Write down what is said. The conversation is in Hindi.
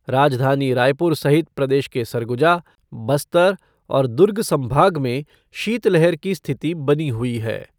राजधानी रायपुर सहित प्रदेश के सरगुजा, बस्तर और दुर्ग संभाग में शीतलहर की स्थिति बनी हुई है।